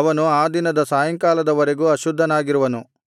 ಅವನು ಆ ದಿನದ ಸಾಯಂಕಾಲದ ವರೆಗೂ ಅಶುದ್ಧನಾಗಿರುವನು